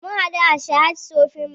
Mun haɗu a sahad shopping mall